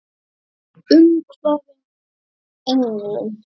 Umvafin englum.